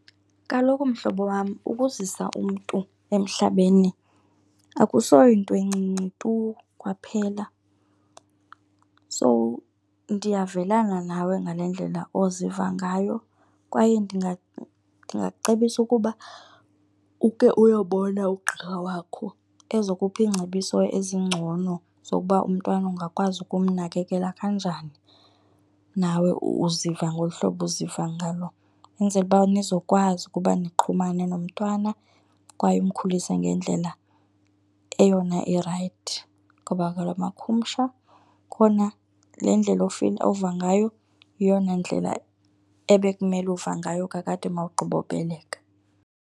Kaloku mhlobo wam, ukuzisa umntu emhlabeni akusoyinto encinci tu kwaphela. So ndiyavelana nawe ngale ndlela oziva ngayo kwaye ndingacebisa ukuba uke uyobona ugqirha wakho ezokupha iingcebiso ezingcono zokuba umntwana ungakwazi ukumnakekela kanjani, nawe uziva ngolu hlobo uziva ngalo. Enzele uba nizokwazi ukuba nixhumane nomntana kwaye umkhulise ngendlela eyona irayithi ngabula makhumsha. Khona le ndlela ova ngayo yeyona ndlela ebekumele uva ngayo kakade ma wugqibobeleka.